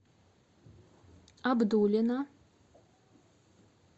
абдулино